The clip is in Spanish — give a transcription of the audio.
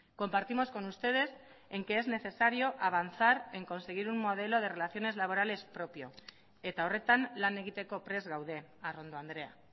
compartimos con ustedes en que es necesario avanzar en conseguir un modelo de relaciones laborales propio eta horretan lan egiteko prest gaude arrondo andrea